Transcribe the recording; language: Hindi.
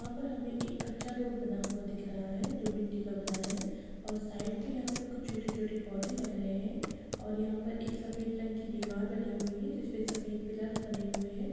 यहाँ पर हमें एक कच्चा रोड बना हुआ दिख रहा है जो मिट्टी का बना है और साइड पे यहाँ पे कुछ छोटे-छोटे पौधे लग रहे हैं और यहाँ पर एक सफेद रंग की दीवार बनी हुई है जिसमें सफ़ेद पिलर्स बने हुए हैं।